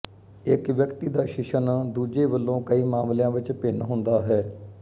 ਇੱਕ ਵਿਅਕਤੀ ਦਾ ਸ਼ਿਸ਼ਨ ਦੂੱਜੇ ਵਲੋਂ ਕਈ ਮਾਮਲੀਆਂ ਵਿੱਚ ਭਿੰਨ ਹੁੰਦਾ ਹੈ